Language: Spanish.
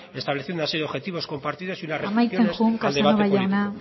estableciendo así objetivos compartidos y unas amaitzen joan casanova jauna